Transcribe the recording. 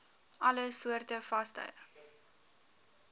alle soorte vaste